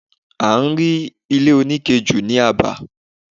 A rí ile onike jù ni aba